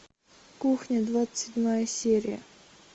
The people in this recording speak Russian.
кухня двадцать седьмая серия